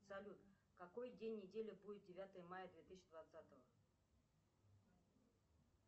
салют какой день недели будет девятое мая две тысячи двадцатого